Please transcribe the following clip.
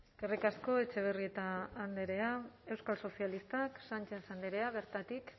eskerrik asko etxebarrieta andrea euskal sozialistak sánchez andrea bertatik